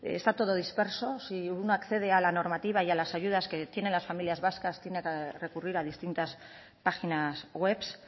está todo disperso si uno accede a la normativa y a las ayudas que tienen las familias vascas tiene que recurrir a distintas páginas webs